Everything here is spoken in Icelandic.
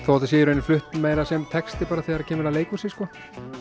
þó þetta sé í raun flutt meira sem texti bara þegar kemur að leikhúsi sko